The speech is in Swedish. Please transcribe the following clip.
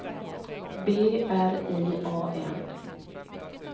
B R I A N